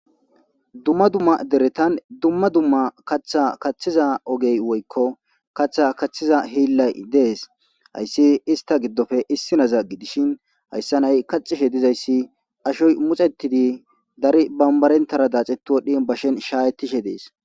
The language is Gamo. Dumma dumma deretan dumma dumma kaththa kaththeza ogeyi woyko, kaththa kaththiza hiillay dees. Ha issi ista giddope issinaza gidishin aysanayi kaththehedizaysi, ashoy mutsattidi daro bambarentara datsettidine bashen shayitishe dees.